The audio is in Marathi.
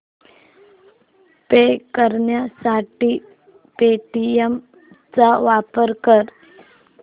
पे करण्यासाठी पेटीएम चा वापर कर